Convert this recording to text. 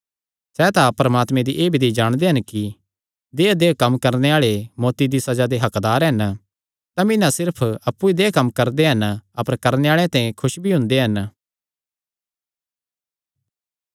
सैह़ तां परमात्मे दी एह़ विधि जाणदे हन कि देहय्देहय् कम्म करणे आल़े मौत्ती दी सज़ा दे हक्कदार हन तमी ना सिर्फ अप्पु ई देहय् कम्म करदे हन अपर करणे आल़ेआं ते खुस भी हुंदे हन